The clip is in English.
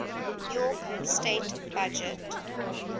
york state budget